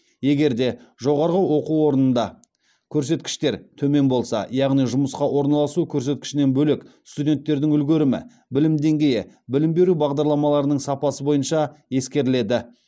егер де жоғарғы оқу орнында көрсеткіштер төмен болса яғни жұмысқа орналасу көрсеткішінен бөлек студенттердің үлгерімі білім деңгейі білім беру бағдарламаларының сапасы бойынша ескеріледі